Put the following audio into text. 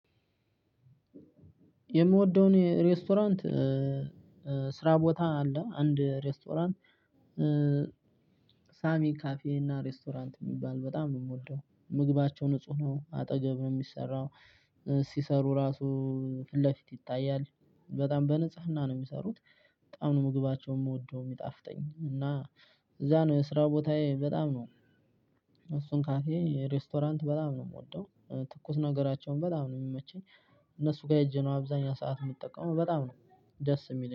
የምወደውን ሬስቶራንት ስራ ቦታ አለ አንድ ሬስቶራንት ሳሚ ካፌ እና ሬስቶራንት የሚባል በጣም ነው የምወደው። ምግባቸው ንጹህ ነው አጠገብ ነው የሚሰራው። ሲሰሩ ራሱ ፊት ለፊት ይታያል በጣም በንጽህና ነው የሚሰሩት። በጣም ነው ምግባቸውን የምወደው የሚጣፍጠኝ እና እዛ ነው የስራ ቦታዬ በጣም ነው። እሱን ካፌ ሬስቶራንት በጣም ነው የምወደው። ትኩስ ነገራቸውን በጣም ነው የሚመቸኝ። እነሱ ጋር ሄጄ ነው አብዛኛው ሰዓት የምጠቀመው በጣም ነው ደስ የሚለኝ